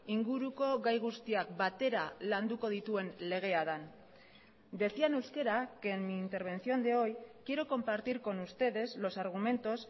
inguruko gai guztiak batera landuko dituen legea den decía en euskera que en mi intervención de hoy quiero compartir con ustedes los argumentos